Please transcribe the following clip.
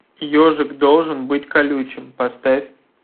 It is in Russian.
ежик должен быть колючим поставь